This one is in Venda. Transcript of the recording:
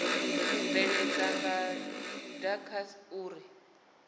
u bveledza nga dacst uri